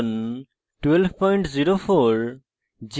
ubuntu linux os সংস্করণ 1204